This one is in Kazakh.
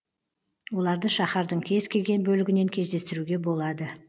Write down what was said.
оларды шаһардың кез келген бөлігінен кездестіруге болады